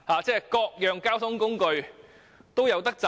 這樣各種交通工具都能夠有錢賺。